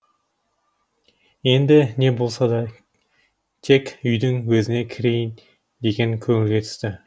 енді не де болса тек үйдің өзіне кірейін деген көңілге түсті